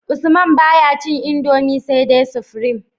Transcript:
Usman baya cin indomie sai dai supreme